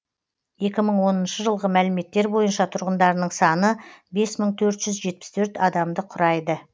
екі мың оныншы жылғы мәліметтер бойынша тұрғындарының саны бес мың төрт жүз жетпіс төрт адамды құрайды